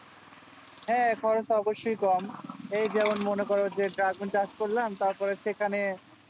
হ্যাঁ এটাও তা বেশি কম এই ধরো মনে করো সারা দিন কাজ করলাম তারপর সেখানে